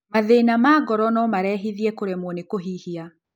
Mathĩna ma ngoro nomarehithie kũremwo nĩ kũhihia